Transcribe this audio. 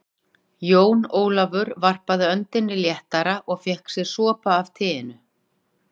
Jón Ólafur varp öndinni léttar og fékk sér sopa af teinu.